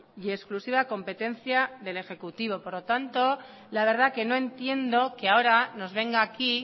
y exclusiva competencia del ejecutivo por lo tanto la verdad que no entiendo que ahora nos venga aquí